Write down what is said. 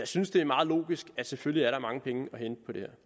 synes det er meget logisk at der selvfølgelig er mange penge at hente på det